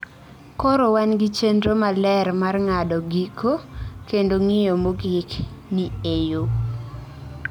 Koro wan gi chenro maler mar ng’ado giko kendo ng’iyo mogik ni e yo.